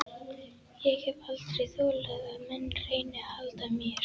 Ég hef aldrei þolað að menn reyni að halda mér.